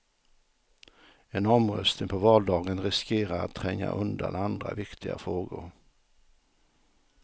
En omröstning på valdagen riskerar att tränga undan andra, viktiga frågor.